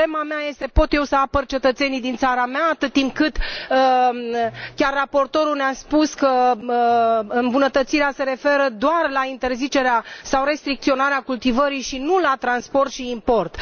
Problema mea este pot eu să apăr cetățenii din țara mea atât timp cât chiar raportorul ne a spus că îmbunătățirea se referă doar la interzicerea sau restricționarea cultivării, și nu la transport și import?